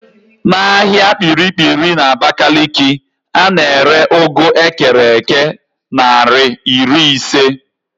N'ahịa Kpiri-kpiri n'Abakaliki, a na-ere ụgụ ekere èké naịra iri ise